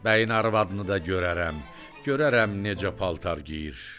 Bəyin arvadını da görərəm, görərəm necə paltar geyir.